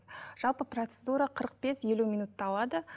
жалпы процедура қырық бес елу минутты алады